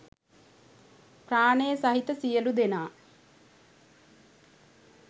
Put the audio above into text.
ප්‍රාණය සහිත සියලු දෙනා